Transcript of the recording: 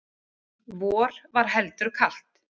Vor var heldur kalt.